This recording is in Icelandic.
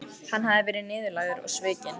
Hann hafði verið niðurlægður og svikinn.